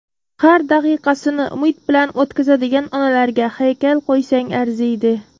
Har daqiqasini umid bilan o‘tkazadigan onalarga haykal qo‘ysang arziydi.